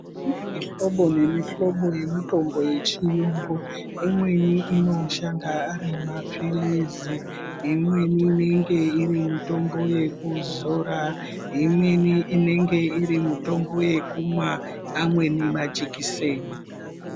Kune mihlobo nemihlobo yemitombo yechiyungu imweni anoshanda ari mapilizi, imweni inenge iri mitombo yekuzora, imweni inenge iri mitombo yekumwa amweni majikiseni.